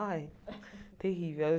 Ai, terrível.